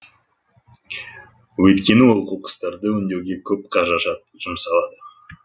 өйткені ол қоқыстарды өңдеуге көп қаражат жұмсалады